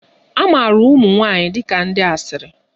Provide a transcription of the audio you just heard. A maara ụmụ nwanyị dị ka ndi asịrị